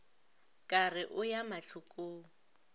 ka re o ya mahlokong